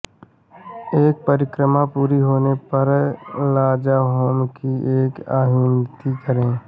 एक परिक्रमा पूरी होने पर लाजाहोम की एक आहुति करें